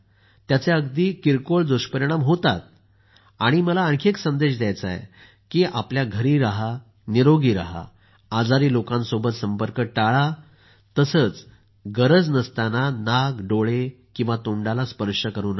त्याचे अगदी किरकोळ दुष्परिणाम होतात आणि मला आणखी एक संदेश द्यायचा आहे की घरी राहा निरोगी राहा आजारी लोकांसोबत संपर्क टाळा तसंच गरज नसताना नाक डोळे आणि तोंडाला स्पर्श करू नका